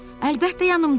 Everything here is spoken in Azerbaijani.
Əlbəttə yanımdadır.